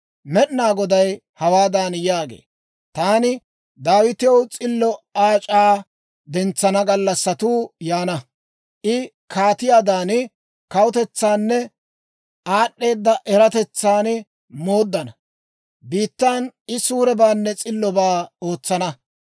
Med'inaa Goday hawaadan yaagee; «Taani Daawitew s'illo aac'aa dentsana gallassatuu yaana. I kaatiyaadan kawutananne aad'd'eeda eratetsan mooddana; biittan I suurebaanne s'illobaa ootsana.